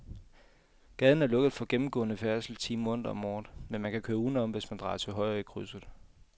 Gaden er lukket for gennemgående færdsel ti måneder om året, men man kan køre udenom, hvis man drejer til højre i krydset.